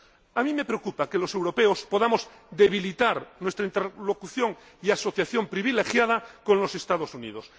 A mí me preocupa que los europeos podamos debilitar nuestra interlocución y asociación privilegiadas con los Estados Unidos.